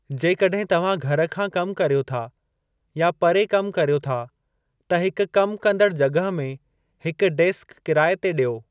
जेकॾहिं तव्हां घर खां कमु कर्यो था या परे कमु कर्यो था, त हिक कमु कंदड़ु जॻह में हिक डेस्क किराए ते ॾियो।